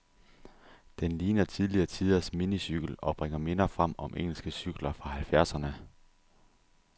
Den ligner tidligere tiders minicykel, og bringer minder frem om engelske cykler fra halvfjerdserne.